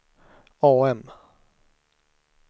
AM